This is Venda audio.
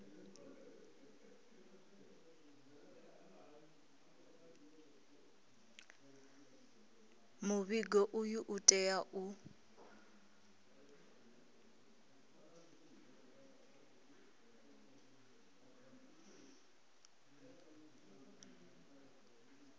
muvhigo uyu u tea u